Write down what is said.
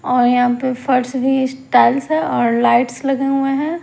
और यहां पे फर्श भी स्टाइल्स और लाइट्स लगे हुए हैं।